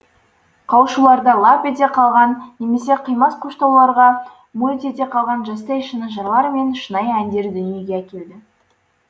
қауышуларда лап ете қалған немесе қимас қоштауларда мөлт ете қалған жастай шыны жырлар мен шынайы әндерді дүниеге әкелді